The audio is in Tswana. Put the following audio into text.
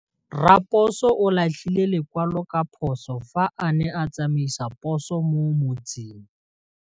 Raposo o latlhie lekwalô ka phosô fa a ne a tsamaisa poso mo motseng.